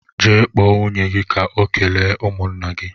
Jee kpọọ nwunye gị ka o kelee ụmụnna gị!